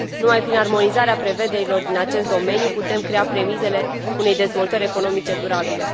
Numai prin armonizarea prevederilor din acest domeniu putem crea premisele unei dezvoltări economice durabile.